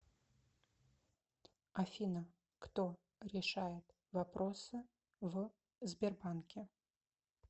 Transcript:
афина кто решает вопросы в сбербанке